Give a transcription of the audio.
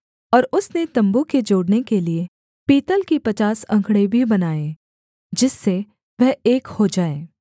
और उसने तम्बू के जोड़ने के लिये पीतल की पचास अंकड़े भी बनाए जिससे वह एक हो जाए